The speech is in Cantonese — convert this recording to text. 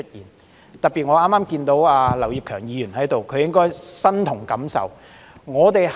我剛才特別看到劉業強議員在席，他應該身同感受。